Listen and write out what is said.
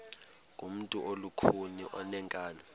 ngumntu olukhuni oneenkani